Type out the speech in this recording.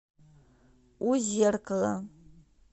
у зеркала